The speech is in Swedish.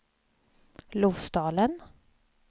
Lofsdalen